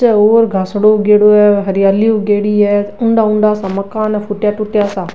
घास उगेडो है हरियाली उगेड़ी है उन्डा उन्डा सा मकान है फूटया टूटया सा।